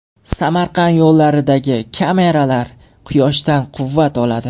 Samarqand yo‘llaridagi kameralar quyoshdan quvvat oladi.